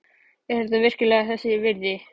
Er þetta virkilega þess virði?